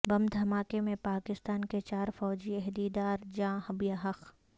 بم دھماکے میں پاکستان کے چار فوجی عہدیدار جاں بحق